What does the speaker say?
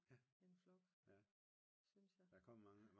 En flok synes jeg